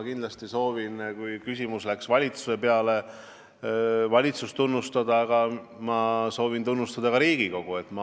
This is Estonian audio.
Kuna küsimuses räägiti valitsusest, siis ma pean kindlasti valitsust tunnustama, aga ma soovin tunnustada ka Riigikogu.